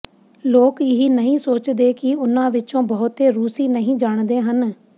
ਲੋਕ ਇਹ ਨਹੀਂ ਸੋਚਦੇ ਕਿ ਉਨ੍ਹਾਂ ਵਿਚੋਂ ਬਹੁਤੇ ਰੂਸੀ ਨਹੀਂ ਜਾਣਦੇ ਹਨ